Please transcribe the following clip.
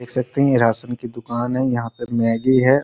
देख सकते है ये राशन का दुकान है यहाँ पर मैगी है।